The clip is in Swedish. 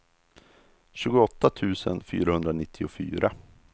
tjugoåtta tusen fyrahundranittiofyra